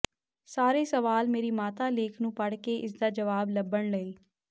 ਸਾਰੇ ਸਵਾਲ ਮੇਰੀ ਮਾਤਾ ਲੇਖ ਨੂੰ ਪੜ੍ਹ ਕੇ ਇਸ ਦਾ ਜਵਾਬ ਲੱਭਣ ਲਈ